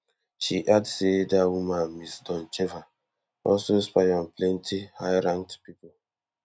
she add say dat woman ms doncheva also spy on plenty highranked pipo